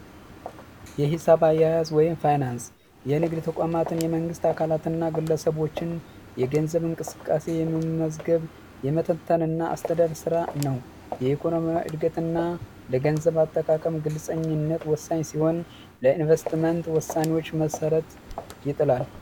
የሂሳብ አያያዝ ወይም ፋይናንስ የንግድ ተቋማትን የመንግስት አካላትና ግለሰቦችን የገንዘብ እንቅስቃሴ የመመዝገብ የመጠጥንና አስተዳደር ስራ ነው የኢኮኖሚ እድገትና ለገንዘብ አጠቃቀም ግልጸኝነት ወሳኝ ሲሆን ለኢንቨስትመንት ወሳኞች መሠረት ይጥላል